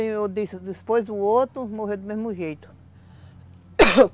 depois o outro morreu do mesmo jeito